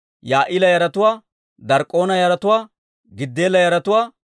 Yaa'ila yaratuwaa, Dark'k'oona yaratuwaa, Giddeela yaratuwaa,